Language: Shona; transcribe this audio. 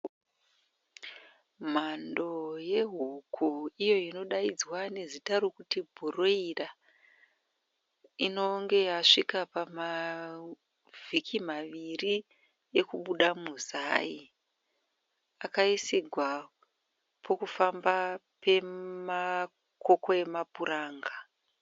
Mhando yehuku iyo inodaidzwa nezita rekuti bhureyira inenge yasvika pamavhiki maviri ekubuda muzai. Akaisirwa pokufamba pemakoko emapuranga.